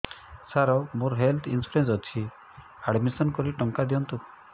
ସାର ମୋର health insurance ଅଛି admission କରି ଟଙ୍କା ଦିଅନ୍ତୁ